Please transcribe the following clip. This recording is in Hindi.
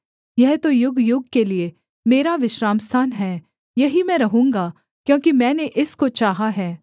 यह तो युगयुग के लिये मेरा विश्रामस्थान हैं यहीं मैं रहूँगा क्योंकि मैंने इसको चाहा है